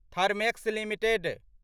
Thermax limited